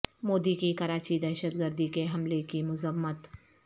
مودی کی کراچی دہشت گردی کے حملے کی مذمت